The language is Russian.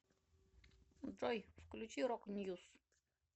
джой включи рок ньюс